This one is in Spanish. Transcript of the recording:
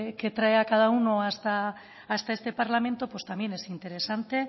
que trae a cada uno hasta este parlamento pues también es interesante